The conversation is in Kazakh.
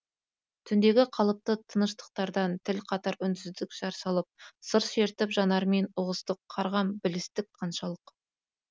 түндегі қалыпты тыныштықтардан тіл қатар үнсіздік жар салып сыр шертіп жанармен ұғыстық қарғам білістік қаншалық